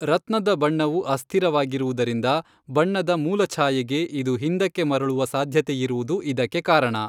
ರತ್ನದ ಬಣ್ಣವು ಅಸ್ಥಿರವಾಗಿರುವುದರಿಂದ ಬಣ್ಣದ ಮೂಲಛಾಯೆಗೆ ಇದು ಹಿಂದಕ್ಕೆ ಮರಳುವ ಸಾಧ್ಯತೆಯಿರುವುದು ಇದಕ್ಕೆ ಕಾರಣ.